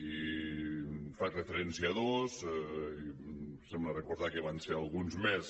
i faig referència a dos em sembla re·cordar que en van ser alguns més